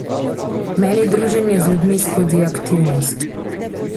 Meni druženje z ljudmi skozi aktivnost.